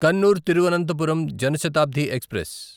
Kannur Thiruvananthapuram Jan Shatabdi express